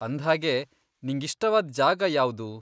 ಅಂದ್ಹಾಗೆ, ನಿಂಗಿಷ್ಟವಾದ್ ಜಾಗ ಯಾವ್ದು?